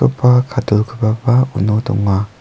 kadulgipaba uno donga.